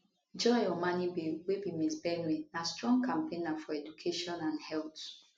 joy omanibe wey be miss benue na strong campaigner for education and health